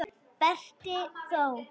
Berti þó!